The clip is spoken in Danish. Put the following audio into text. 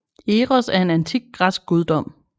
Eros er en antik græsk guddom